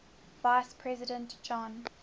vice president john